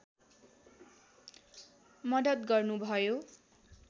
मद्दत गर्नुभयो